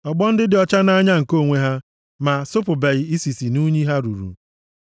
Ọgbọ ndị dị ọcha nʼanya nke onwe ha ma asapụbeghị isisi nʼunyi ha ruru.